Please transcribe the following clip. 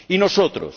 ¿Y nosotros?